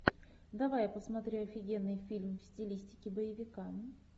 давай я посмотрю офигенный фильм в стилистике боевика